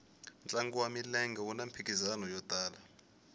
ntlangu wa milenge wuna mphikizano yo tala